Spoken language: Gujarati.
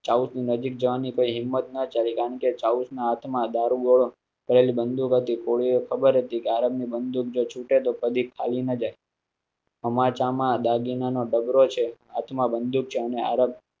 ચાઊસના ની નજીક જવાની હિંમત ના ચાલી, કારણ કે ચાઊસના હાથ માં દારૂગોળો ભરેલી બંદૂક હતી. કોળીઓ ને ખબર હતી કે આરબ ની બંદૂક જો છૂટે તોહ કાઢી ખાલી ન જાય અમ્મા ચા માં દાગીના નો ડબરો છે. આત્મા બંદૂક છે અને આરબ